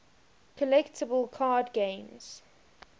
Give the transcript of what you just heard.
collectible card games